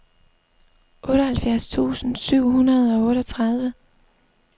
otteoghalvfjerds tusind syv hundrede og otteogtredive